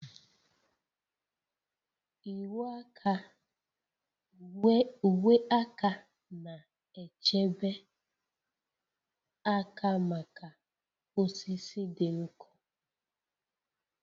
Uwe aka na-echebe aka maka osisi dị nkọ